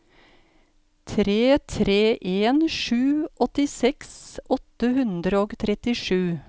tre tre en sju åttiseks åtte hundre og trettisju